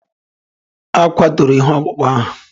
E kwaturu ihe ọkpụkpụ ahụ